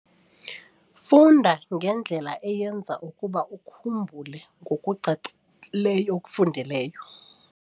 Funda ngendlela eyenza ukuba ukhumbule ngokucacileyo okufundileyo.